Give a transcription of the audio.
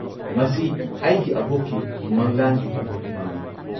ꯃꯁꯤ ꯑꯩꯒꯤ ꯑꯕꯣꯛꯀꯤ ꯃꯪꯂꯥꯟꯒꯤ ꯄꯟꯊꯨꯡꯐꯝꯅꯤ꯫